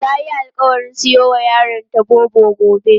Tayi alƙawarin siyowa yaronta Bobo gobe.